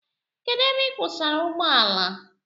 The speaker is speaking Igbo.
Kedụ ebe ị kwụsara ụgbọala?